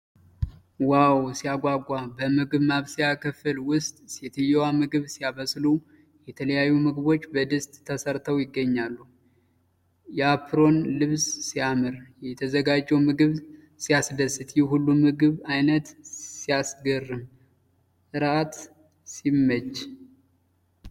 ዋው ሲያጓጓ! በምግብ ማብሰያ ክፍል ውስጥ ሴትየዋ ምግብ ሲያበስሉ! የተለያዩ ምግቦች በድስት ተሰርተው ይገኛሉ። የአፕሮን ልብስ ሲያምር! የተዘጋጀው ምግብ ሲያስደስት! ይህ ሁሉ የምግብ አይነት ሲያስገርም! እራት ሲመች!